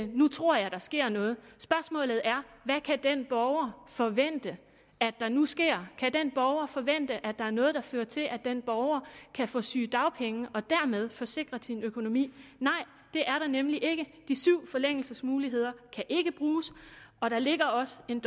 nu tror jeg der sker noget spørgsmålet er hvad kan den borger forvente at der nu sker kan den borger forvente at der er noget der fører til at den borger kan få sygedagpenge og dermed få sikret sin økonomi nej det er der nemlig ikke de syv forlængelsesmuligheder kan ikke bruges og der ligger også en